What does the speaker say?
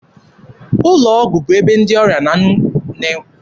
Ụlọ ọgwụ bụ ebe ndị ọrịa na enweta nkasi obi na nlekọta anya.